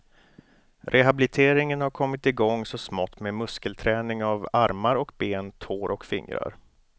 Rehabliteringen har kommit igång så smått med muskelträning av armar och ben, tår och fingrar.